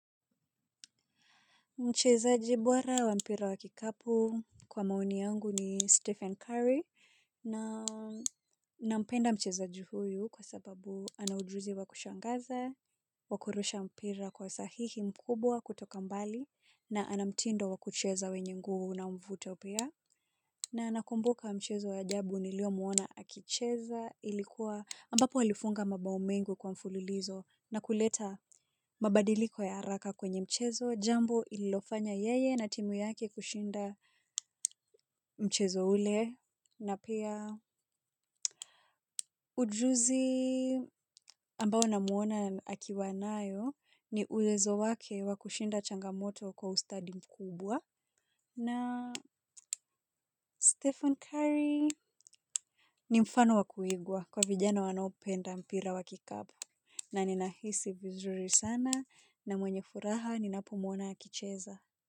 Mchezaji bora wa mpira wa kikapu kwa maoni yangu ni Stephen Curry nampenda mchezaji huyu kwa sababu anaujuzi wa kushangaza, wa kurusha mpira kwa sahihi mkubwa kutoka mbali na anamtindo wa kucheza wenye nguvu na mvuto pia. Na nakumbuka mchezo wa ajabu nilio muona akicheza ilikuwa ambapo alifunga mabao mengibkwa mfululizo na kuleta mabadiliko ya haraka kwenye mchezo jambo lilofanya yeye na timu yake kushinda mchezo ule na pia ujuzi ambao na muona akiwa nayo ni uwezo wake wa kushinda changamoto kwa ustadi mkubwa. Na Stephen Curry Ni mfano wa kuigwa kwa vijana wanaopenda mpira wa kikapu. Na ninahisi vizuri sana na mwenye furaha ninapomwona akicheza.